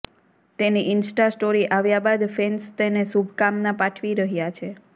તેની insta story આવ્યા બાદ ફેન્સ તેને શુભકામના પાઠવી રહ્યા છે